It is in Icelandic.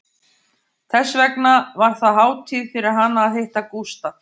Þess vegna var það hátíð fyrir hana að hitta Gústaf